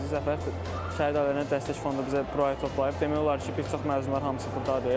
Bizi Zəfər şəhid ailələrinə dəstək fondu bizi bura toplayıb, demək olar ki, bir çox məzunlar hamısı burdadır.